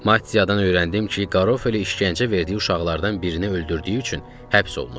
Mattiyadan öyrəndim ki, Garofoli işgəncə verdiyi uşaqlardan birini öldürdüyü üçün həbs olunub.